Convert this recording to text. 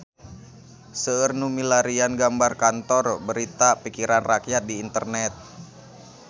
Seueur nu milarian gambar Kantor Berita Pikiran Rakyat di internet